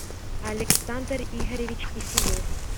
александр игоревич киселев